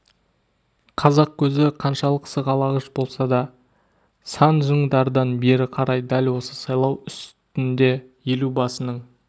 қазақ көзі қаншалық сығалағыш болса да сан жыңдардан бері қарай дел осы сайлау үстіңде елу басының